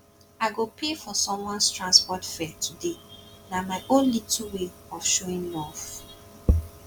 i go pay for someones transport fare today na my own little way of showing love